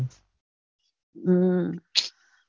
હમ